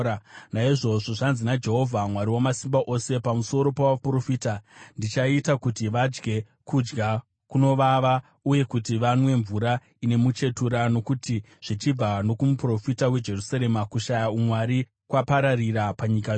Naizvozvo, zvanzi naJehovha Mwari Wamasimba Ose, pamusoro pavaprofita: “Ndichaita kuti vadye kudya kunovava, uye kuti vanwe mvura ine muchetura, nokuti zvichibva nokumuprofita weJerusarema, kushaya umwari kwapararira panyika yose.”